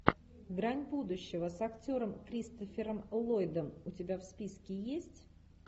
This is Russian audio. грань будущего с актером кристофером ллойдом у тебя в списке есть